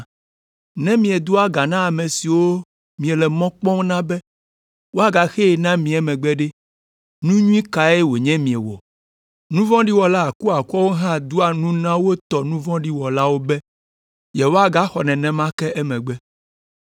Ne miedoa ga na ame siwo miele mɔ kpɔm na be woagaxee na mi emegbe ɖe, nu nyui kae wònye miewɔ? Nu vɔ̃ɖi wɔla akuakuawo hã doa nu na wo tɔ nu vɔ̃ɖi wɔlawo be yewoaxɔ nenema ke emegbe.